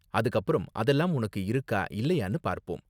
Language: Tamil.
அதுக்கு அப்பறம் அதெல்லாம் உனக்கு இருக்கா இல்லயானு பார்ப்போம்.